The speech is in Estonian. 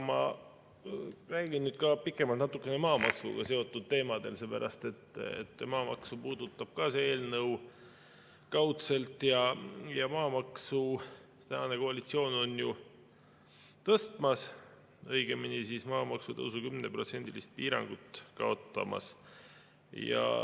Räägin nüüd natukene pikemalt maamaksuga seotud teemadel, sellepärast et kaudselt puudutab see eelnõu ka maamaksu ja maamaksu on tänane koalitsioon tõstmas, õigemini, maamaksu tõusu 10%‑list piirangut kaotamas.